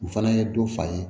U fana ye dɔ fa ye